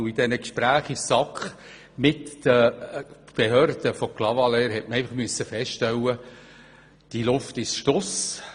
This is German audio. Bei den Gesprächen mit den Behörden von Clavaleyres in der SAK hat man feststellen müssen, dass die Luft draussen ist.